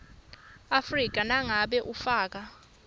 afrika nangabe ufaka